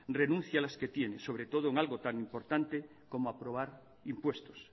renuncie a las que tiene sobre todo en algo tan importante como aprobar impuestos